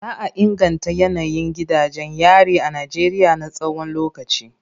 Za a inganta yanayin gidajen yari a Najeriya na tsawon lokaci.